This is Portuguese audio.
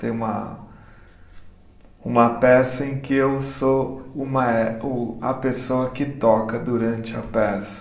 Tem uma uma peça em que eu sou o mae o, a pessoa que toca durante a peça.